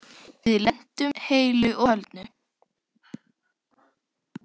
Við lentum heilu og höldnu.